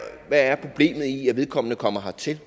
er problemet i at vedkommende kommer hertil